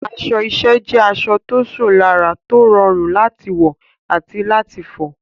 Aṣọ iṣẹ́ jẹ́ aṣọ tó ṣò lára, tó rọrùn láti wọ̀ àti láti fọ̀.